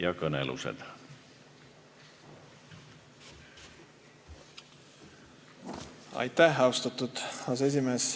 Austatud aseesimees!